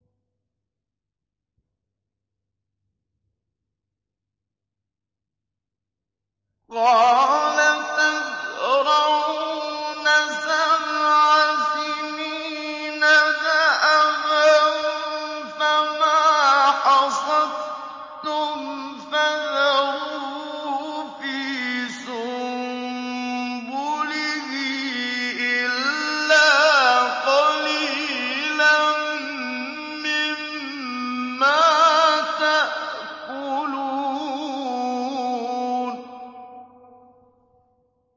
قَالَ تَزْرَعُونَ سَبْعَ سِنِينَ دَأَبًا فَمَا حَصَدتُّمْ فَذَرُوهُ فِي سُنبُلِهِ إِلَّا قَلِيلًا مِّمَّا تَأْكُلُونَ